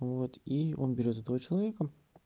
вот и он берёт этого человека